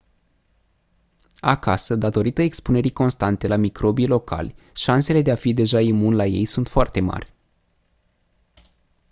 acasă datorită expunerii constante la microbii locali șansele de a fi deja imun la ei sunt foarte mari